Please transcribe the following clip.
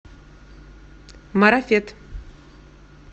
марафет